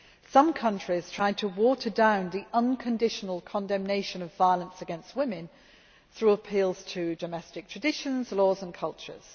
Some countries tried to water down the unconditional condemnation of violence against women through appeals to domestic traditions, laws and cultures.